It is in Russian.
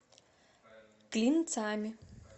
клинцами